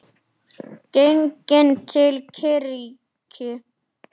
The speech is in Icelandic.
Genginn til kirkju.